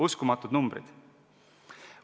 Uskumatud numbrid.